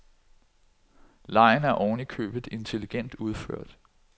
Legen er oven i købet intelligent udført.